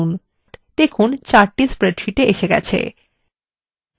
দেখুন chart স্প্রেডশীটে এসে হয়েছে